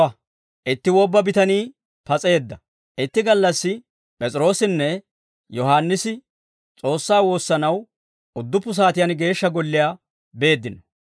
Itti gallassi, P'es'iroossinne Yohaannisi S'oossaa woossanaw udduppu saatiyaan Geeshsha Golliyaa beeddino.